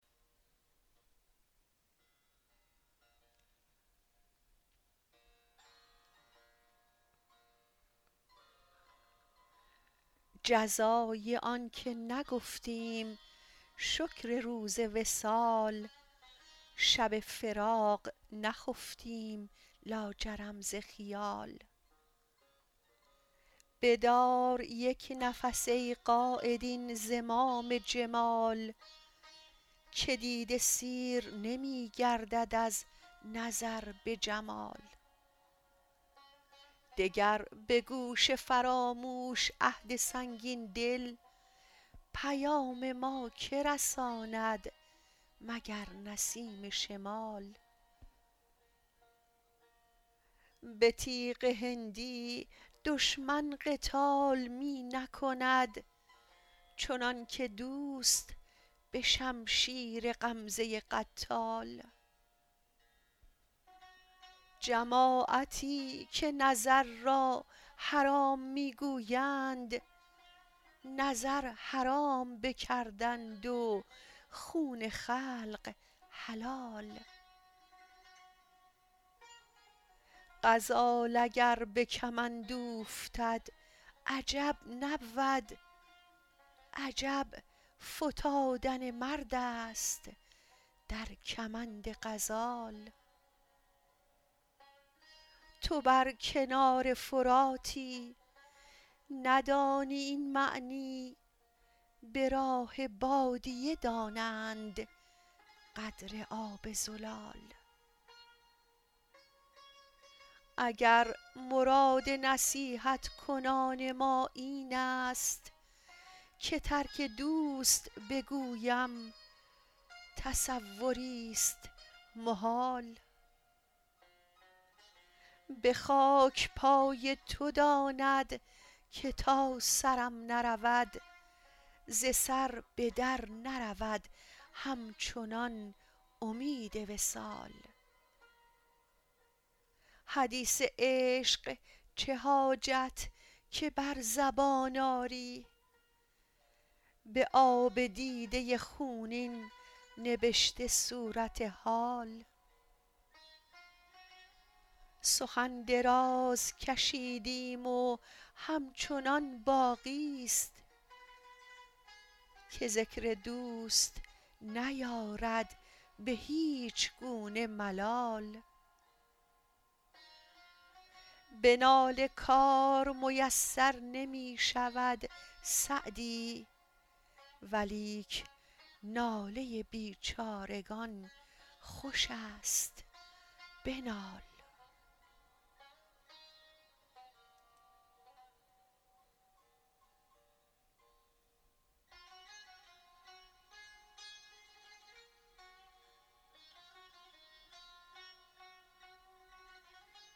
جزای آن که نگفتیم شکر روز وصال شب فراق نخفتیم لاجرم ز خیال بدار یک نفس ای قاید این زمام جمال که دیده سیر نمی گردد از نظر به جمال دگر به گوش فراموش عهد سنگین دل پیام ما که رساند مگر نسیم شمال به تیغ هندی دشمن قتال می نکند چنان که دوست به شمشیر غمزه قتال جماعتی که نظر را حرام می گویند نظر حرام بکردند و خون خلق حلال غزال اگر به کمند اوفتد عجب نبود عجب فتادن مرد است در کمند غزال تو بر کنار فراتی ندانی این معنی به راه بادیه دانند قدر آب زلال اگر مراد نصیحت کنان ما این است که ترک دوست بگویم تصوریست محال به خاک پای تو داند که تا سرم نرود ز سر به در نرود همچنان امید وصال حدیث عشق چه حاجت که بر زبان آری به آب دیده خونین نبشته صورت حال سخن دراز کشیدیم و همچنان باقیست که ذکر دوست نیارد به هیچ گونه ملال به ناله کار میسر نمی شود سعدی ولیک ناله بیچارگان خوش است بنال